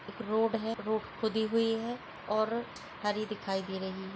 एक रोड है रोड खुदी हुई है और हरी दिखाई दे रही है।